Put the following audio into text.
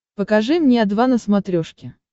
покажи мне о два на смотрешке